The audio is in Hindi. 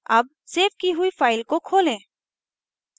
अब सेव की हुई file को खोलें